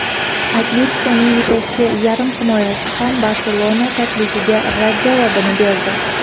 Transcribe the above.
"Atletiko"ning yetakchi yarimhimoyachisi ham "Barselona" taklifiga rad javobini berdi.